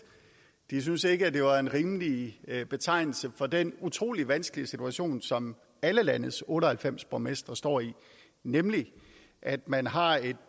de syntes ikke at det var en rimelig betegnelse for den utrolig vanskelige situation som alle landets otte og halvfems borgmestre står i nemlig at man har et